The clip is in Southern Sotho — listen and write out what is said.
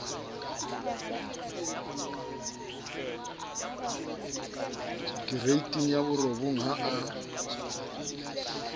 kereiting ya borobong ha a